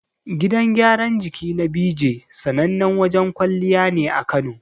Gidan gyaran jiki na Beejay, sanannen wajen kwalliya ne a Kano.